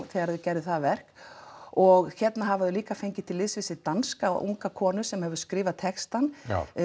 þegar þau gerðu það verk og hérna hafa þau líka fengið til liðs við sig danska unga konu sem skrifar textann